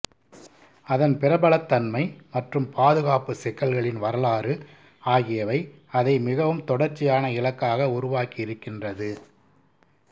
அதன் பிரபலத்தன்மை மற்றும் பாதுகாப்பு சிக்கல்களின் வரலாறு ஆகியவை அதை மிகவும் தொடர்ச்சியான இலக்காக உருவாக்கியிருக்கின்றது